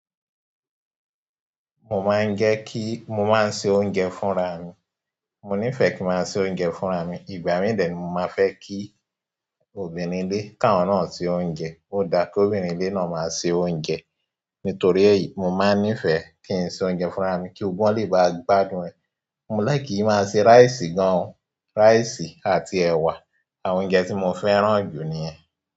Mo máa ń jẹ kí, mo máa ń se oúnjẹ fún ra mi. Mo nífẹ̀ẹ́ kí n máa se oúnjẹ fún ra mi. Ìgbà mí dè ni mo máa fẹ́ kí obìnrin ilé ká wọn náà ṣe oúnjẹ. Ó da kí obìnrin ilé náà máa se oúnjẹ. Nítorí èyí, mo máa ń nífẹ̀ẹ́ kí n se oúnjẹ fún ra mi kí gbogbo wọn lè bá gbádùn. Mo láì kì ki máa se rice gan. Rice àti ẹwà àwọn oúnjẹ ti mó fẹ́ràn ju nìyẹn.